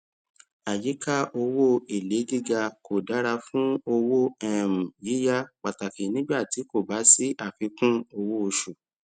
àyíka owó èlé gíga kò dára fún owó um yíyá pàtàkì nígbà tí kò bá sí àfikún owó oṣù